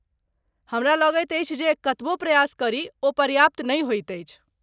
हमरा लगैत अछि जे कतबो प्रयास करी ओ पर्याप्त नहि होइत अछि।